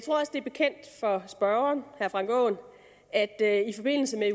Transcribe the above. det er bekendt for spørgeren herre frank aaen at jeg i forbindelse